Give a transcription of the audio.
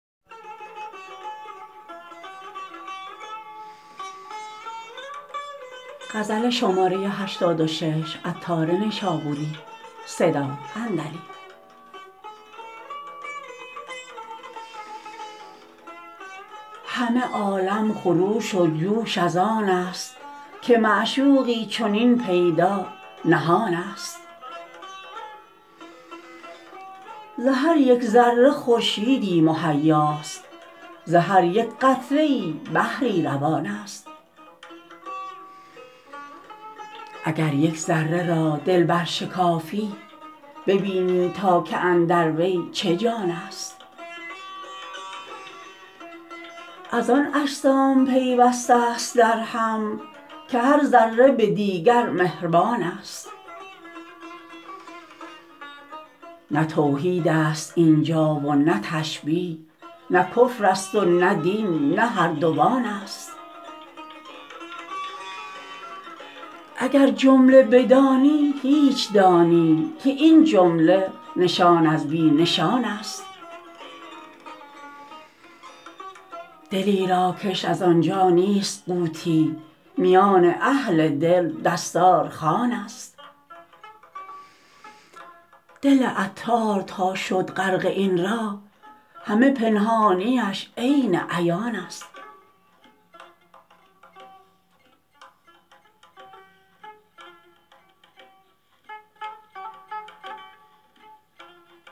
همه عالم خروش و جوش از آن است که معشوقی چنین پیدا نهان است ز هر یک ذره خورشیدی مهیاست ز هر یک قطره ای بحری روان است اگر یک ذره را دل برشکافی ببینی تا که اندر وی چه جان است از آن اجسام پیوسته است درهم که هر ذره به دیگر مهربان است نه توحید است اینجا و نه تشبیه نه کفر است و نه دین نه هر دوان است اگر جمله بدانی هیچ دانی که این جمله نشان از بی نشان است دلی را کش از آنجا نیست قوتی میان اهل دل دستار خوان است دل عطار تا شد غرق این راه همه پنهانیش عین عیان است